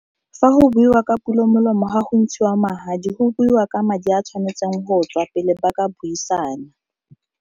Fa go buiwa ka pulo molomo ga go ntshiwa magadi go buiwa ka madi a tshwanetseng go tswa pele ba ka buisana.